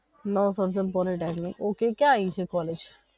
Navsarjan polytechnic ok ક્યાં આવી છે કોલેજ.